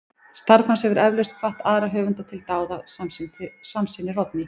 Starf hans hefur eflaust hvatt aðra höfunda til dáða, samsinnir Oddný.